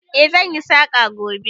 Eh, zan yi saƙa gobe.